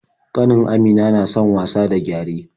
Ƙanin Amina na son wasa da gyare.